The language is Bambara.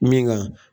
Min ka